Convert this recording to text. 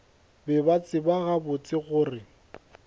be ba tseba gabotse gore